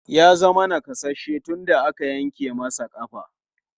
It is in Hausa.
Ya zama nakasasshe tun da aka yanke masa ƙafa.